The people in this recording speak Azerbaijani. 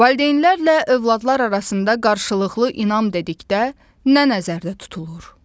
Valideynlərlə övladlar arasında qarşılıqlı inam dedikdə nə nəzərdə tutulur?